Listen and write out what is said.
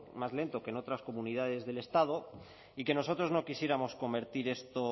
más lento que en otras comunidades del estado y que nosotros no quisiéramos convertir esto